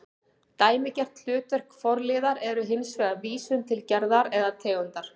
Dæmigert hlutverk forliðar er hins vegar vísun til gerðar eða tegundar